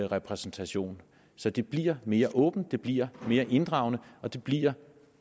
repræsentation så det bliver mere åbent det bliver mere inddragende og det bliver